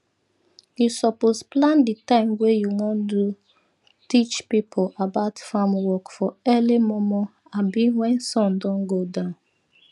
u suppose plan di time wey u won do teach pipo about farm work for early momo abi when sun don go down